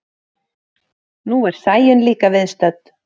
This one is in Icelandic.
Nú er Sæunn líka viðstödd.